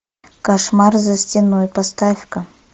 кошмар за стеной поставь ка